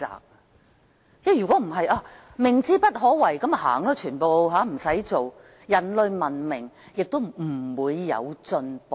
否則，如果因為明知不可為，所有人便離開，不用做事，人類文明亦不會有進步。